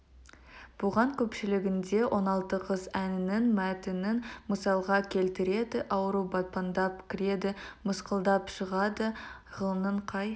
бұған көпшілігінде он алты қыз әнінің мәтінін мысалға келтіреді ауру батпандап кіреді мысқылдап шығады ғылымның қай